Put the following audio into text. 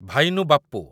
ଭାଇନୁ ବାପ୍ପୁ